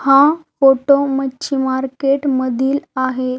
हा फोटो मच्छि मार्केट मधील आहे.